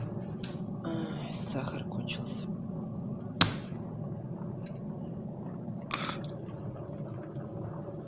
ай сахар кончился